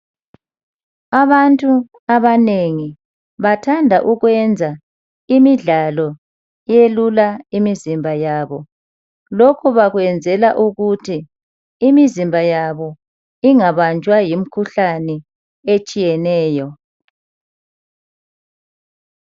Abantu abanengi bathanda ukwenza imidlalo elula emizimba yabo lokhu bakwenzela ukuthi imizimba yabo ingabanjwa yimikhuhlane etshiyeneyo.